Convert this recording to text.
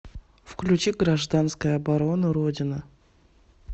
включи гражданская оборона родина